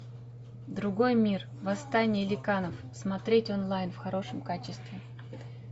другой мир восстание ликанов смотреть онлайн в хорошем качестве